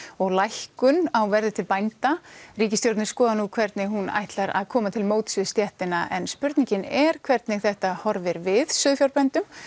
og lækkun á verði til bænda ríkisstjórnin skoðar nú hvernig hún ætlar að koma til móts við stéttina en spurningin er hvernig þetta horfir við sauðfjárbændum